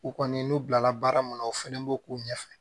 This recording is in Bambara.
U kɔni n'u bilala baara mun na o fana b'o k'u ɲɛfɛ